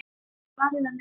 Svarið var nei.